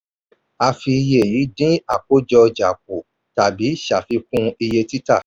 a fi iye yìí dín àkójọ ọjà kú tàbí ṣàfikún iye títà.